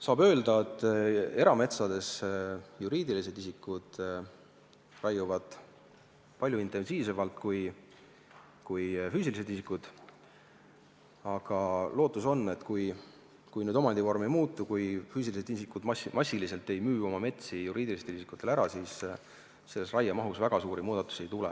Saab öelda, et erametsades raiuvad juriidilised isikud palju intensiivsemalt kui füüsilised isikud, aga lootust on, et kui omandivorm ei muutu – kui füüsilised isikud massiliselt oma metsi juriidilistele isikutele ära ei müü –, siis raiemahus väga suuri muudatusi ei tule.